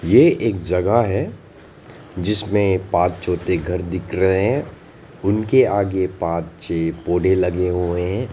ये एक जगह है जिसमें पांच छोटे घर दिख रहे हैं उनके आगे पांच छे पौधे लगे हुए हैं।